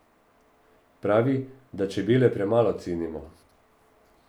Pravi, da čebele premalo cenimo.